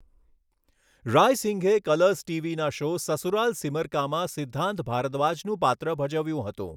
રાયસિંઘએ Colors ટીવીના show 'Sasural Simar કા'માં સિદ્ધાંત ભારદ્વાજનું પાત્ર ભજવ્યું હતું.